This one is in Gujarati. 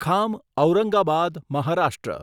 ખામ ઔરંગાબાદ મહારાષ્ટ્ર